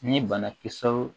Ni banakisɛw